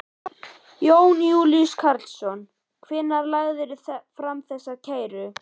Jón Júlíus Karlsson: Hvenær lagðirðu fram þessa kæru?